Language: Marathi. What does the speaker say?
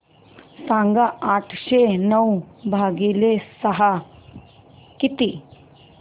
सांगा आठशे नऊ भागीले सहा किती